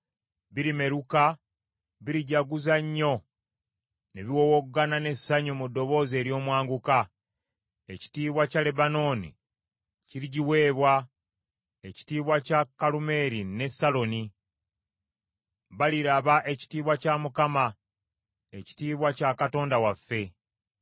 birimeruka, birijaguza nnyo ne biwowogana n’essanyu mu ddoboozi ery’omwanguka. Ekitiibwa kya Lebanooni kirigiweebwa, ekitiibwa kya Kalumeeri ne Saloni; baliraba ekitiibwa kya Mukama , ekitiibwa kya Katonda waffe.